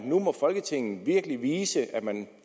folketinget nu virkelig må vise at man